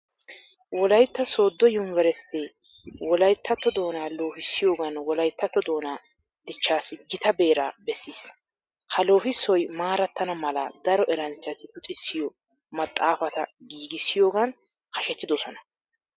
Wolaytta sooddo yunveresttee wolayttatto doonaa loohissiyogan wolayttatto doonaa dichchaassi gita beeraa bessiis. Ha loohissoy maarattana mala daro eranchchati luxissiyo maxaafata giigissiyogan hashetidosona.